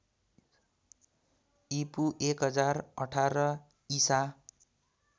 ईपू १०१८ ईसा